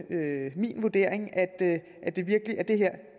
det min vurdering at